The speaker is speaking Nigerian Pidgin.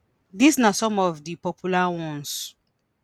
dis na some of di popular ones.